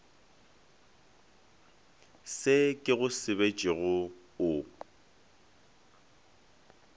se ke go sebetšego o